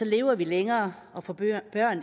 lever vi længere og får børn